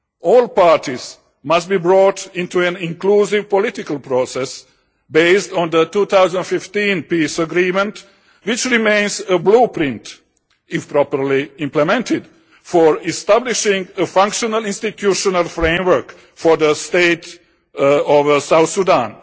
All parties must be brought into an inclusive political process based on the 2015 peace agreement, which remains a blueprint, if properly implemented, for establishing a functional institutional framework for the state of South Sudan.